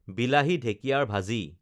বিলাহী, ঢেঁকিয়াৰ ভাজি